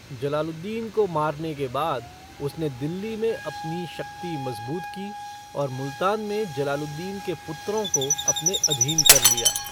जलालुद्दीन को मारने के बाद, उसने दिल्ली में अपनी शक्ति मजबूत की, और मुल्तान में जलालुद्दीन के पुत्रों को अपने अधीन कर लिया।